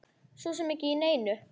Svo sem ekki neinu.